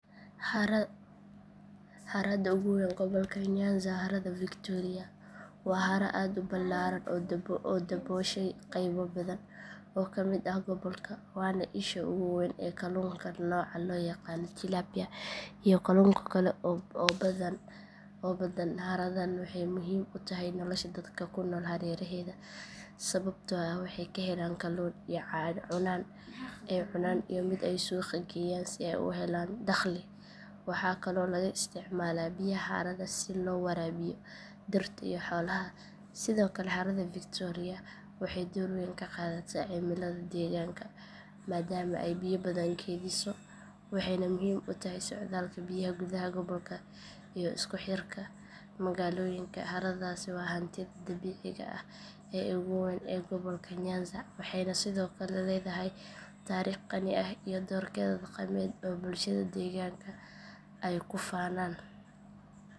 Harada ugu weyn gobolka nyanza waa harada victoria waa haro aad u ballaaran oo dabooshay qaybo badan oo ka mid ah gobolka waana isha ugu weyn ee kalluunka nooca loo yaqaan tilapia iyo kalluun kale oo badan haradan waxay muhiim u tahay nolosha dadka ku nool hareeraheeda sababtoo ah waxay ka helaan kalluun ay cunaan iyo mid ay suuqa geeyaan si ay u helaan dakhli waxaa kaloo laga isticmaalaa biyaha harada si loo waraabiyo dhirta iyo xoolaha sidoo kale harada victoria waxay door weyn ka qaadataa cimillada deegaanka maadaama ay biyo badan kaydiso waxayna muhiim u tahay socdaalka biyaha gudaha gobolka iyo isku xirka magaalooyinka haradaasi waa hantida dabiiciga ah ee ugu weyn ee gobolka nyanza waxayna sidoo kale leedahay taariikh qani ah iyo doorkeeda dhaqameed oo bulshada deegaanka ay ku faanaan.